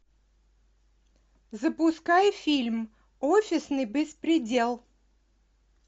запускай фильм офисный беспредел